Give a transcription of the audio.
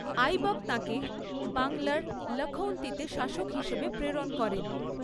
আইবক তাঁকে বাংলার লখউনতিতে শাসক হিসেবে প্রেরণ করেন।